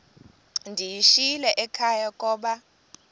ndiyishiyile ekhaya koba